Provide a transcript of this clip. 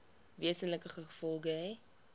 wesenlike gevolge hê